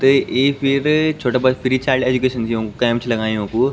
ते एक फिर छोटा बच्चा फ्री चाइल्ड एजुकेशन दियुं कैंप छ लगायुं युन्कू।